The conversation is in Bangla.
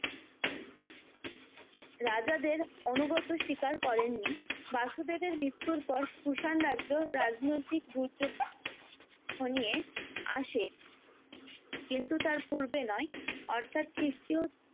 রাজাদের অনুগত শিকার করেননি বাসুদেবের মৃত্যুর পর কুষাণ রাজ্য রাজনৈতিক দুর্যোগ ঘনিয়ে আসে কিন্তু তার পূর্বে নয় অর্থাৎ খিষ্ট্রীয়